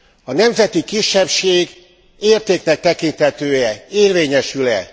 A nemzeti kisebbség értéknek tekinthető e, érvényesül e?